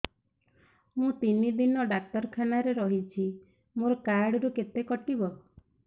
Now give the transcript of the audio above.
ମୁଁ ତିନି ଦିନ ଡାକ୍ତର ଖାନାରେ ରହିଛି ମୋର କାର୍ଡ ରୁ କେତେ କଟିବ